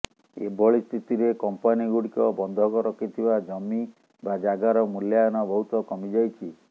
ଏଭଳି ସ୍ଥିତିରେ କମ୍ପାନୀ ଗୁଡ଼ିକ ବନ୍ଧକ ରଖିଥିବା ଜମି ବା ଜାଗାର ମୂଲ୍ୟାୟନ ବହୁତ କମିଯାଇଛି